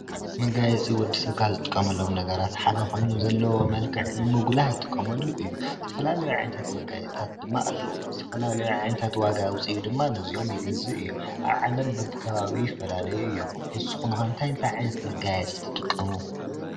መጋየፂ ወዲ ሰብ ካብ ዝጥቀመሎም ነገራት ሓደ ኾይኑ ብዘለዎ መልክዕ ንምጉላህ ይጥቀመሉ እዩ። ዝተፈላለዩ ዓይነታት መጋየፅታት ድማ ኣለዉ። ዝትፈላለዩ ዓይነታት ዋጋ ኣውፂኡ ድማ ነዚኦም ይገዝእ ኣዩ። ኣብ ዓለም ብቢከባቢኡ ይፈላለዩ እዮም። ንስኹም ኸ እንታይ እንታይ ዓይነት መጋየፂ ትጥቀሙ?